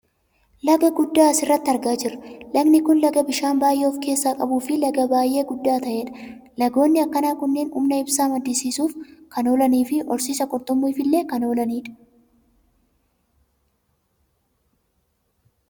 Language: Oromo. Laga guddaa asirratti argaa jirra. Lagni kun laga bishaan baayyee of keessaa qabuufi laga baayyee guddaa ta'edha. Lagoonni akkanaa kunneen humna ibsaa maddisiisuuf kan oolaniifi horsiisa qurxummiitifillee kan oolanii dha.